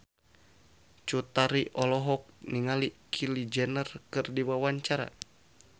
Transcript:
Cut Tari olohok ningali Kylie Jenner keur diwawancara